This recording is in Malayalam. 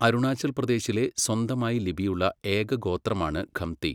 അരുണാചൽ പ്രദേശിലെ സ്വന്തമായി ലിപിയുള്ള ഏക ഗോത്രമാണ് ഖംതി.